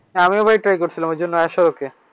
আমিও ভাই Try করছিলাম ঐজন্য আর কি